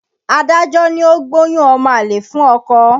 Adájọ́ ní ó gbóyún ọmọ àlè fún ọkọ.